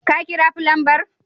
Ka kira fulanbar?